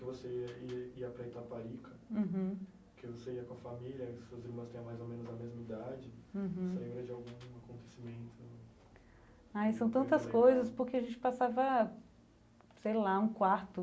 você ia ia ia para Itaparica, que você ia com a família, e suas irmãs tenham mais ou menos a mesma idade, você lembra de algum acontecimento? Ah são tantas coisas porque a gente passava sei lá um quarto